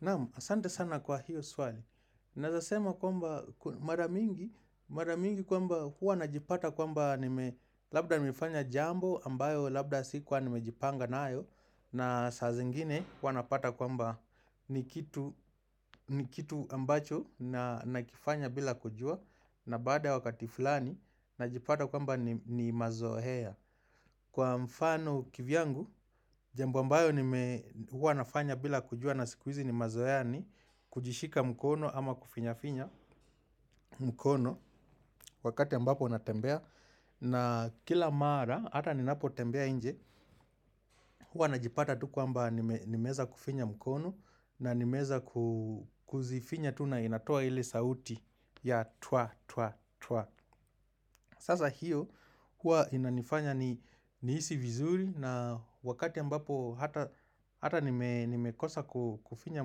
Naam, ahsante sana kwa hilo swali. Naweza sema kwamba mara mingi kwamba huwa najipata kwamba labda nimefanya jambo ambayo labda sikuwa nimejipanga nayo. Na saa zingine huwa napata kwamba ni kitu ambacho nakifanya bila kujua na baada ya wakati fulani najipata kwamba ni mazoea. Kwa mfano kivyangu, jambo ambayo huwa nafanya bila kujua na siku hizi ni mazoea ni kujishika mkono ama kufinyafinya mkono wakati ambapo natembea. Na kila mara, ata ninapotembea nje, huwa najipata tu kwamba nimeweza kufinya mkono na nimeweza kuzifinya tu na inatoa ile sauti ya tua, tua, tua. Sasa hiyo huwa inanifanya nihisi vizuri na wakati ambapo hata nimekosa kufinya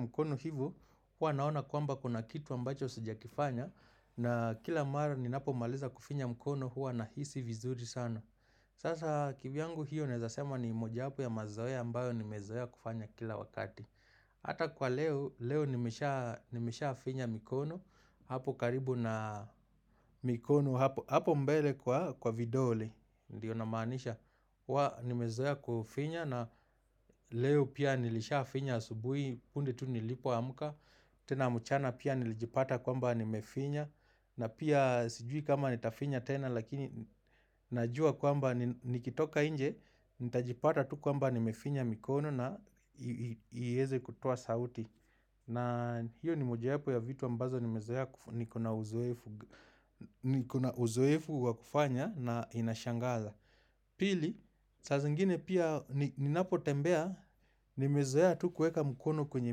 mkono hivyo, huwa naona kwamba kuna kitu ambacho sijakifanya na kila mara ninapo maliza kufinya mkono huwa nahisi vizuri sana. Sasa kivyangu hiyo naweza sema ni moja wapo ya mazoea ambayo nimezoea kufanya kila wakati. Hata kwa leo, leo nimeshafinya mikono, hapo karibu na mikono, hapo mbele kwa vidole, ndiyo na maanisha. Nimezoea kufinya na leo pia nilishafinya asubuhi, punde tu nilipoamka, tena mchana pia nilijipata kwamba nimefinya. Na pia sijui kama nitafinya tena lakini najua kwamba nikitoka nje Nitajipata tu kwamba nimefinya mikono na iweze kutoa sauti. Na hiyo ni moja wapo ya vitu ambazo nimezoea kufanya. Niko na uzoefu wakufanya na inashangaza. Pili, saa zingine pia ninapo tembea nimezoea tu kuweka mikono kwenye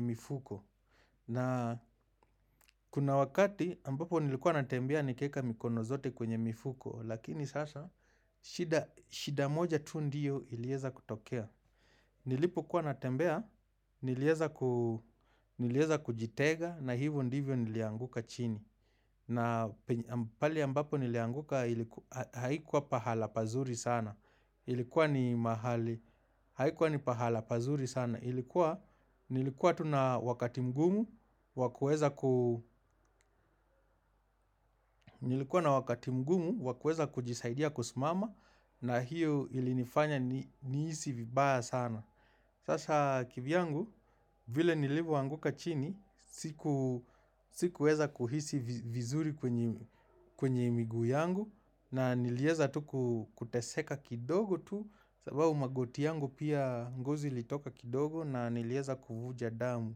mifuko. Na kuna wakati ambapo nilikuwa natembea nikiweka mikono zote kwenye mifuko, lakini sasa, shida moja tu ndiyo iliweza kutokea. Nilipo kuwa natembea, nilieza kujitega, na hivyo ndivyo nilianguka chini. Na pahali ambapo nilianguka, haikuwa pahala pazuri sana, ilikuwa ni mahali haikuwa ni pahala pazuri sana. Ilikuwa, nilikuwa tu na wakati mgumu, wakuweza ku, nilikuwa na wakati mgumu, wakuweza kujisaidia kusimama, na hiyo ilinifanya nihisi vibaya sana. Sasa kivyangu, vile nilivyoanguka chini, siku sikuweza kuhisi vizuri kwenye miguu yangu, na niliweza tu kuteseka kidogo tu, sababu magoti yangu pia ngozi ilitoka kidogo na nilieza kuvuja damu.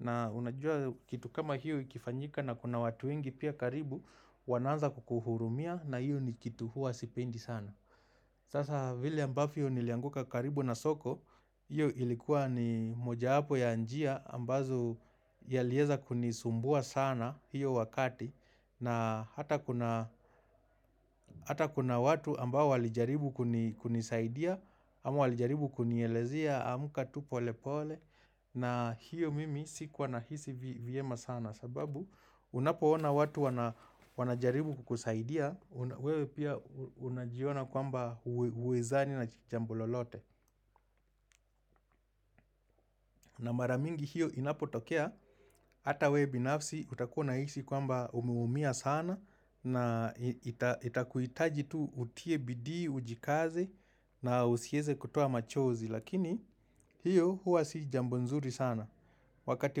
Na unajua kitu kama hiyo ikifanyika na kuna watu wengi pia karibu wanaanza kukuhurumia na hiyo ni kitu huwa sipendi sana. Sasa vile ambavyo nilianguka karibu na soko, hiyo ilikuwa ni moja wapo ya njia ambazo yaliweza kunisumbua sana hiyo wakati na hata kuna watu ambao walijaribu kunisaidia, Ama walijaribu kunielezea amka tu polepole na hiyo mimi sikuwa nahisi vyema sana. Sababu unapoona watu wanajaribu kukusaidia, wewe pia unajiona kwamba huwezani na jambo lolote na mara mingi hiyo inapotokea Hata wewe binafsi utakuwa unahisi kwamba umeumia sana, na itakuhitaji tu utie bidii ujikaze na usiweze kutoa machozi, Lakini hiyo huwa si jambo nzuri sana Wakati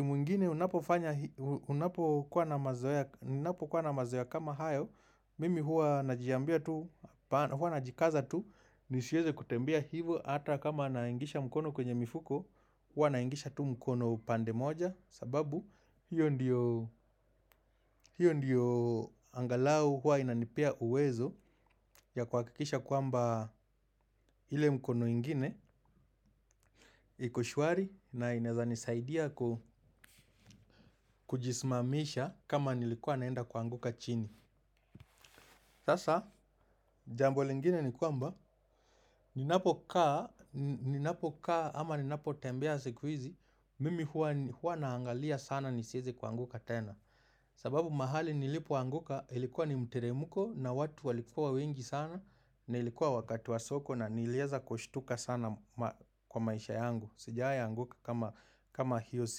mwingine unapokuwa na mazoea kama hayo Mimi hua najiambia tu, hua najikaza tu nisiweze kutembea hivyo hata kama naingisha mkono kwenye mifuko, huwa naingisha tu mkono upande moja. Sababu hiyo ndiyo hiyo ndiyo angalau hua inanipea uwezo ya kuhakikisha kwamba ile mkono ingine iko shwari na inaweza nisaidia kujisimamisha kama nilikuwa naenda kuanguka chini Sasa jambo lingine ni kwamba, ninapo Ninapokaa ama ninapotembea siku hizi, Mimi huwa naangalia sana nisiweze kuanguka tena. Sababu mahali nilipoanguka ilikuwa ni mteremko na watu walikuwa wengi sana, na ilikuwa wakati wa soko na nilieza kushituka sana kwa maisha yangu. Sijawahi anguka kama hiyo siku.